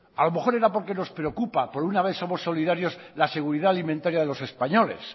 a lo mejor era porque nos preocupa por una vez somos solidarios la seguridad alimentaria de los españoles